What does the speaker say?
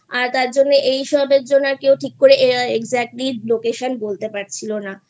আর তার জন্য এসব এর জন্য কেউ ঠিক করে Exactly location বলতে পারছিলো না